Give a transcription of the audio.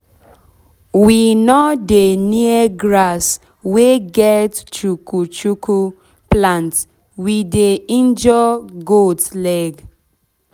we no dey near grasss wey get chukuchuku plant we dey injure goat leg